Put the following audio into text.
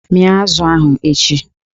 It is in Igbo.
Mịa azụ ahụ echi!